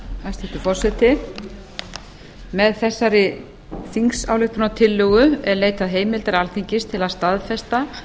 hæstvirtur forseti með þessari þingsályktunartillögu er leitað heimildar alþingis til að staðfesta